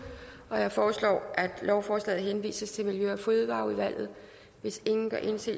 jeg foreslår at lovforslaget henvises til miljø og fødevareudvalget hvis ingen gør indsigelse